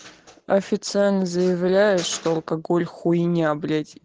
официально заявляю что алкоголь хуйня блять